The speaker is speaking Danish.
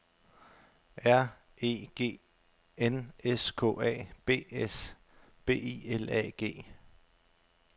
R E G N S K A B S B I L A G